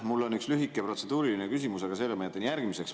Mul on üks lühike protseduuriline küsimus, aga selle ma jätan järgmiseks.